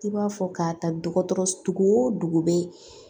I b'a fɔ k'a ta dɔgɔtɔrɔ o dugu bɛ